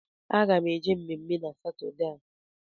Aga m eje mmemme na Satọdee a